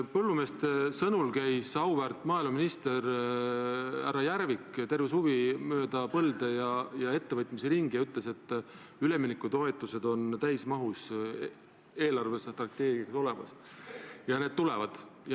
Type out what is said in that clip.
Põllumeeste sõnul käis auväärt maaeluminister härra Järvik terve suvi mööda põlde ja ettevõtteid ringi ning ütles, et üleminekutoetused on eelarvestrateegias täismahus olemas ja need tulevad.